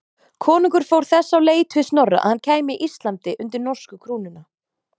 Konungur fór þess á leit við Snorra að hann kæmi Íslandi undir norsku krúnuna.